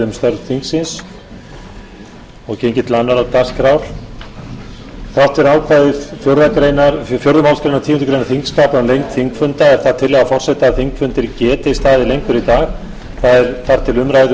þrátt fyrir ákvæði fjórðu málsgreinar tíundu greinar þingskapa um lengd þingfunda er það tillaga forseta að þingfundir geti staðið lengur í dag eða þar til umræðu um